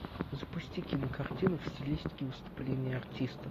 запусти кинокартину в стилистике выступления артиста